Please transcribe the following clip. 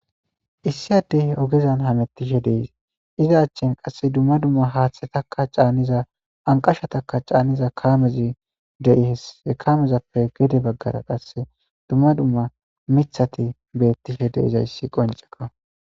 Issi addey ogezan hamettishe dees iza achchin qasse dumma dumma haaththe takka caanniza anqasha taka caaniza kaamezi dei hesse kaamezappe gede baggara qasse dumma dumma mithati beettishe deizayssi qonceka